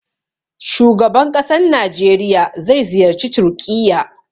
Shugaban ƙasan Najeriya zai ziyarci Turƙiyya.